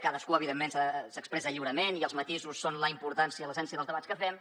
cadascú evidentment s’expressa lliurement i els matisos són la importància l’essència dels debats que fem